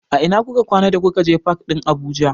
A ina kuka kwana da kuka je fak ɗin Abuja?